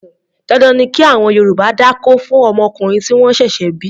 Dandan ni kí àwọn Yorùbá dákó fún ọmọkùnrin tí wọ́n ṣẹ̀ṣẹ̀ bí.